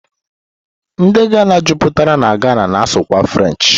Ndi Ghana juputara na Ghana na-asụ kwa French